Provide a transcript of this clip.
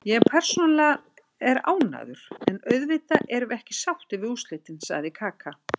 Ég persónulega er ánægður, en auðvitað erum við ekki sáttir við úrslitin, sagði Kaka.